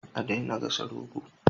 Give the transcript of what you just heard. A daina gasa goro